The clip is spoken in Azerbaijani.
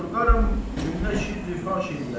Qorxaram, cümlə şirr ifaş eləyər.